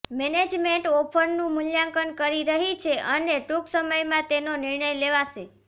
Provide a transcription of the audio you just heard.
management ઓફરનું મૂલ્યાંકન કરી રહી છે અને ટૂંક સમયમાં તેનો નિર્ણય લેવાશે